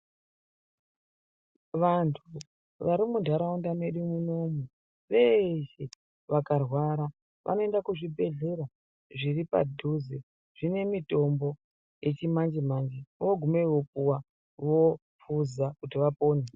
Vantu vari mu ndaraunda medu munomu veshe vakarwara vano enda ku zvibhedhlera zviri padhuze zvine mitombo yechi manje manje vogumeyo vopuwa vohloza kuti vapone.